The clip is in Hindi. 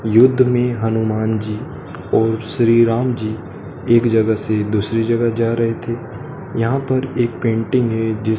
युद्ध में हनुमान जी और श्री राम जी एक जगह से दूसरी जगह जा रहे थे यहां पर एक पेंटिंग है जिस--